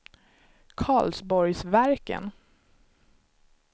Karlsborgsverken